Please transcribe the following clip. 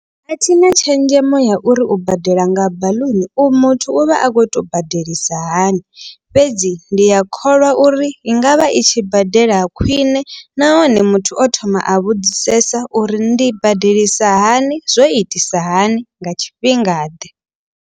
Athina tshenzhemo ya uri u badela nga baḽuni u muthu u vha a kho to badelisa hani. Fhedzi ndi a kholwa uri i ngavha i tshi badela khwiṋe nahone muthu o thoma a vhudzisesa uri ndi badelisa hani. Zwo itisa hani nga tshifhingaḓe.